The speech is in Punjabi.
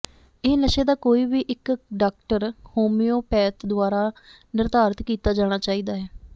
ਇਹ ਨਸ਼ੇ ਦਾ ਕੋਈ ਵੀ ਇੱਕ ਡਾਕਟਰ ਹੋਮਿਓਪੈਥ ਦੁਆਰਾ ਿਨਰਧਾਰਤ ਕੀਤਾ ਜਾਣਾ ਚਾਹੀਦਾ ਹੈ